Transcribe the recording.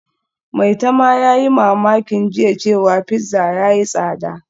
Maitama yayi mamakin jiya cewa pizza yayi tsada